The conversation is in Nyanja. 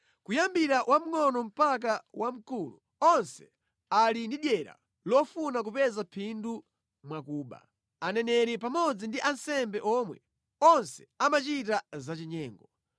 “Kuyambira wamngʼono mpaka wamkulu, onse ali ndi dyera lofuna kupeza phindu mwa kuba; aneneri pamodzi ndi ansembe omwe, onse amachita zachinyengo.